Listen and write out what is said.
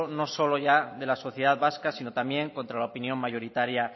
no solo ya de la sociedad vasca sino también contra la opinión mayoritaria